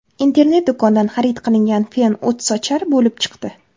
Internet do‘kondan xarid qilingan fen o‘tsochar bo‘lib chiqdi.